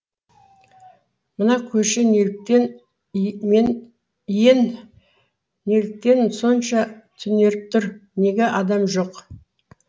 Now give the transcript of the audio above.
мына көше неліктен иен неліктен сонша түнеріп тұр неге адам жоқ